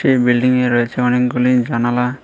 এই বিল্ডিংয়ে রয়েছে অনেকগুলি জানালা।